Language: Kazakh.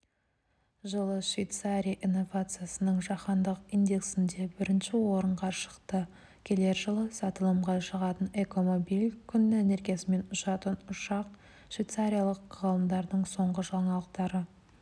жылы швейцария инновацияның жаһандық индексінде бірінші орынға шықты келер жылы сатылымға шығатын экомобиль күн энергиясымен ұшатын ұшақ швейцарлық ғалымдардың соңғы жаңалықтары